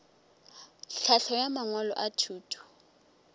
tlhahlo ya mangwalo a thuto